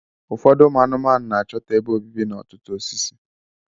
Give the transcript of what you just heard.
Ụfọdụ anụmanụ na-achọta ebe obibi n'ọtụtụ osisi